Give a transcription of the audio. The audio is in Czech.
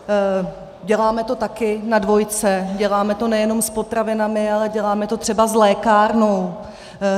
Děláme to taky na dvojce, děláme to nejenom s potravinami, ale děláme to třeba s lékárnou.